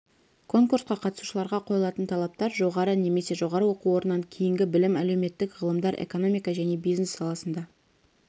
конкурсқа қатысушыларға қойылатын талаптар жоғары немесе жоғары оқу орнынан кейінгі білім әлеуметтік ғылымдар экономика және бизнес саласында